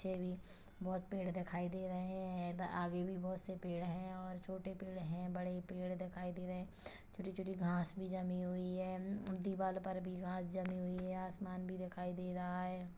बहोत पेड़ दिखाई दे रहा है आगे भी बहोत से पेड़ है और छोटे पेड़ है बड़े पेड़ दिखाई दे रहे है छोटी छोटी घास भी जमी हुई है उम्म दीवार पर भी घास जमी हुई है आसमान भी दिखाई दे रहा है।